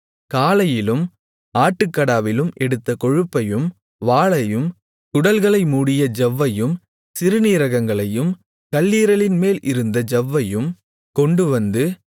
காளையிலும் ஆட்டுக்கடாவிலும் எடுத்த கொழுப்பையும் வாலையும் குடல்களை மூடிய ஜவ்வையும் சிறுநீரகங்களையும் கல்லீரலின்மேல் இருந்த ஜவ்வையும் கொண்டுவந்து